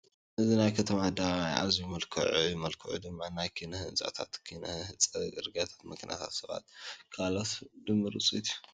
እዚ ናይ ከተማ ኣደባባይ ኣዝዩ ምልኩዕ እዩ፡፡ መልክዑ ድማ ናይ ኪነ ህንፃታት፣ ኪነ ፅርግያታትን መኪናታትን ሰባትን ካልኦትን ድምር ውፅኢት እዩ፡፡